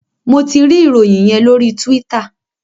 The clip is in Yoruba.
Mo tí rí Ìròyìn yén lori Twitter.